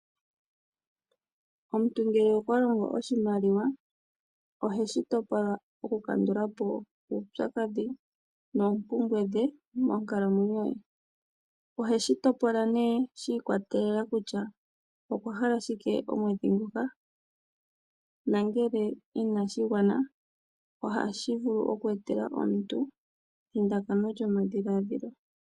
Omuntu ngele okwa longo oshimaliwa, ohe oshimaliwa topola okukandula po uupyakadhi noompumbwe dhe monkalamwenyo ye. Ohe shi topola nduno shi ikwatelela kutya okwa hala shike omwedhi nguka, nongele inashi gwana, ohashi vulu okweetela omuntu ethindakano lyomadhiladhilo.